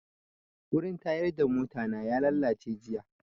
Wurin tayar da mota na ya lalace jiya